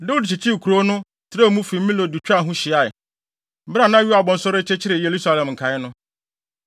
Dawid kyekyeree kurow no, trɛw mu fi Milo de twaa ho hyiae, bere a na Yoab nso rekyekyere Yerusalem nkae no.